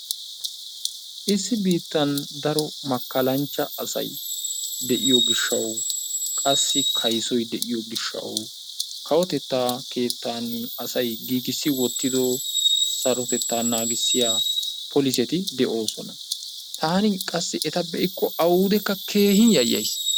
Issi biittan daro makkalanchcha asay de'iyo gishshaw qassi kayssoy de'iyo gishshaw kawotetta keettan asay giigissi wottido sarotettaa naagissiya polisseti de'oosona. Taani qassi eta be'ikko awudekka keehin yayyays.